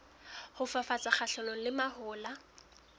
ho fafatsa kgahlanong le mahola